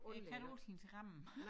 Jeg kan ikke altid ramme